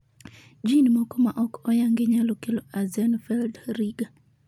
jin moko maok oyangi nyalo kelo Axenfeld-Rieger